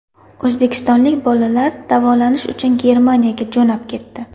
O‘zbekistonlik bolalar davolanish uchun Germaniyaga jo‘nab ketdi.